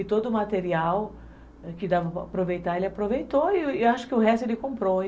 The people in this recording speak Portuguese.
E todo o material que dava para aproveitar, ele aproveitou e acho que o resto ele comprou.